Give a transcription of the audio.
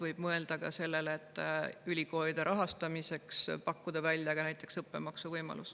Võib mõelda ka sellele, et ülikoolide rahastamiseks pakkuda välja näiteks õppemaksuvõimalus.